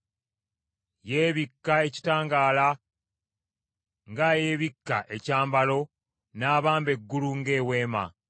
Yeebika ekitangaala ng’ayeebikka ekyambalo n’abamba eggulu ng’eweema,